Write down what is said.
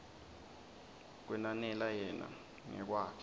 kwenanela yena ngekwakhe